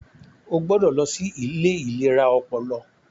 O gbọdọ lọ sí ilé ìlera ọpọlọ!